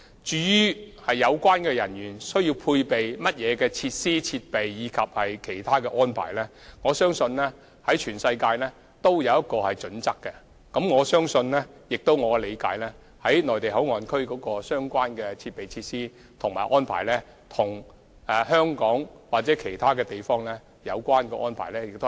至於有關人員須配備甚麼設施、設備及其他安排，我相信全球也訂有相關準則，而據我理解，"內地口岸區"的相關設備、設施和安排，亦與香港或其他地方的相關安排相若。